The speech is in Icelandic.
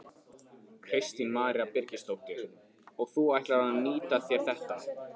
Kristín María Birgisdóttir: Og þú ætlar að nýta þér þetta?